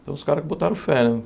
Então os caras que botaram fé, né?